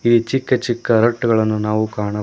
ಈ ಚಿಕ್ಕ ಚಿಕ್ಕ ರಟ್ಟುಗಳನ್ನು ನಾವು ಕಾಣ--